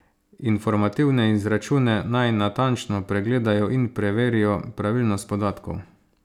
Informativne izračune naj natančno pregledajo in preverijo pravilnost podatkov.